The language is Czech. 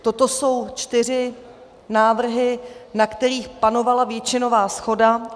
Toto jsou čtyři návrhy, na kterých panovala většinová shoda.